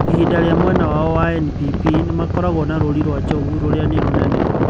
Ĩhinda rĩa mwena wao wa NPP, Nĩmakoragwo na rũũri rwa njogu. rũrĩa nĩ rũnene.